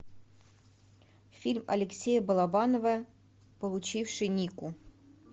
фильм алексея балабанова получивший нику